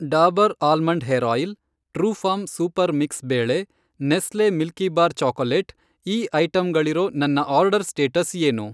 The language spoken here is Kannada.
Dabur almond hair oil, Truefarm super mix ಬೇಳೆ, ನೆಸ್ಲೆ ಮಿಲ್ಕೀಬಾರ್ ಚೊಕಲೆಟ್, ಈ ಐಟಂಗಳಿರೋ ನನ್ನ ಆರ್ಡರ್ ಸ್ಟೇಟಸ್ ಏನು